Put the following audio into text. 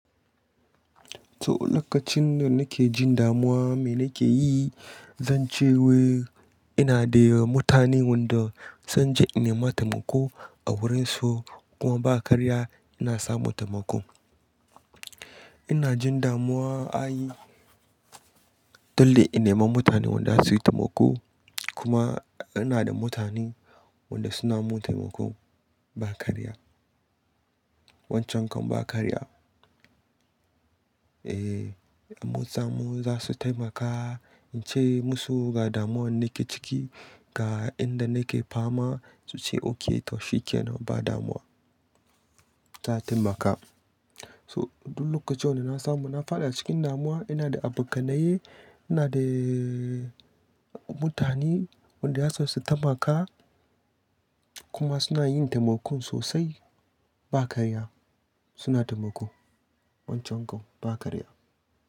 To lokacin da nake jin damuwa me nake yi, zan ce wai ina da mutane wanda zan je in nema taimako a wurin su kuma ba karya ina samu taimako. Ina jin damuwa ayi dole in nema mutane wanda za su yi taimako kuma ina da mutane wanda suna min taimako ba karya. Wancan kan ba karya. Eh, mutane za su taimaka in ce musu ga damuwan nake ciki ga inda nake fama su ce ok, to shikenan ba damuwa za, a taimaka. So duk lokacin wanda na samu, na fada cikin damuwa ina da abokanaye, ina da mutane wanda za su taimaka kuma suna yin taimako sosai ba karya suna taimako wancan kan ba karya.